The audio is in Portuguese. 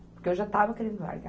Porque eu já estava querendo largar.